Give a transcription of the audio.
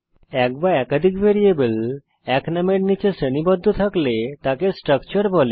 এক বা একাধিক ভ্যারিয়েবল এক নামের নিচে শ্রেণীবদ্ধ থাকলে তাকে স্ট্রাকচার বলে